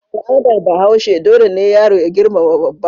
A al'adar Bahaushe dole ne yaro ya girmama babba.